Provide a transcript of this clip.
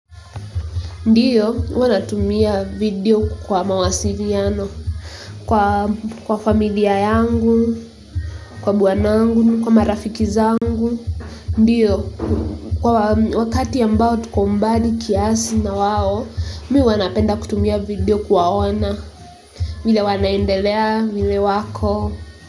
Ndiyo, huwa natumia video kwa mawasiliano, kwa familia yangu, kwa bwanangu, kwa marafiki zangu. Ndiyo, kwa wakati ambao tuko mbali kiasi na wao, mimi huwa napenda kutumia video kuwaona. Vile wanaendelea vile wako.